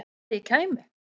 Að ég kæmi?